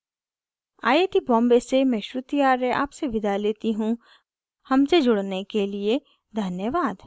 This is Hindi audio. आई आई टी बॉम्बे से मैं श्रुति आर्य आपसे विदा लेती हूँ हमसे जुड़ने के लिए धन्यवाद